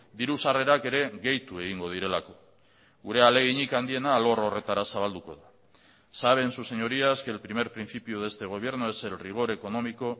diru sarrerak ere gehitu egingo direlako gure ahaleginik handiena alor horretara zabalduko da saben sus señorías que el primer principio de este gobierno es el rigor económico